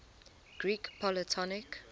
greek polytonic